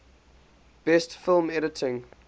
best film editing